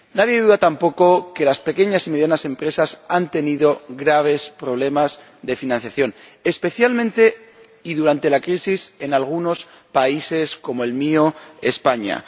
Nadie duda tampoco de que las pequeñas y medianas empresas han tenido graves problemas de financiación, especialmente, y durante la crisis, en algunos países como el mío, España.